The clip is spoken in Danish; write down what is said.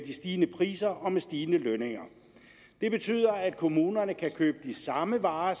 stigende priser og med stigende lønninger det betyder at kommunerne kan købe de samme varer